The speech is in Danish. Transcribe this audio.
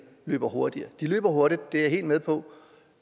løber hurtigere de løber hurtigt det er jeg helt med på